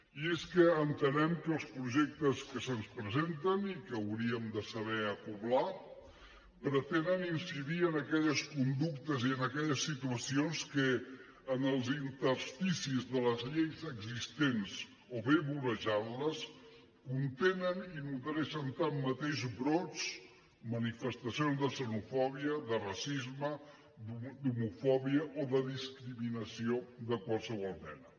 i és que entenem que els projectes que se’ns presenten i que hauríem de saber acoblar pretenen incidir en aquelles conductes i en aquelles situacions que en els intersticis de les lleis existents o bé vorejant les contenen i nodreixen tanmateix brots manifestacions de xenofòbia de racisme d’homofòbia o de discriminació de qualsevol mena